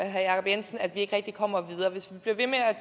herre jacob jensen at vi ikke rigtig kommer videre hvis vi bliver ved med at